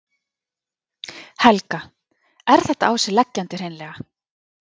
Helga: Er þetta á sig leggjandi hreinlega?